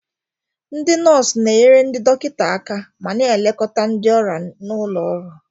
Ndị nọọsụ na-enyere ndị dọkịta aka ma na-elekọta ndị ọrịa n'ụlọ ọgwụ.